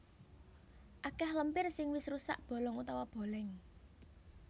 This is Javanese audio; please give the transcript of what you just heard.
Akèh lempir sing wis rusak bolong utawa bolèng